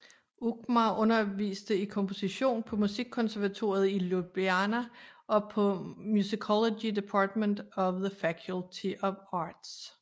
Ukmar underviste i komposition på Musikkonservatoriet i Ljubljana og på Musicology Department of the Faculty of Arts